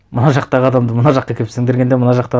мына жақтағы адамды мына жаққа әкеліп сіңдіргенде мына жақты